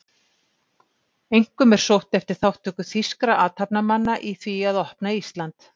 Einkum er sóst eftir þátttöku þýskra athafnamanna í því að opna Ísland